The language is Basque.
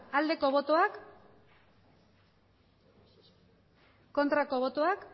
emandako botoak